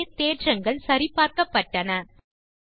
ஆகவே தேற்றங்கள் சரி பார்க்கப்பட்டன